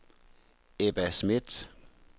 Ebba Schmidt